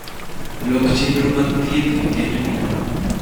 lok chenro mag thietth wikendni